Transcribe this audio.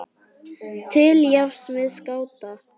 til jafns við skáta.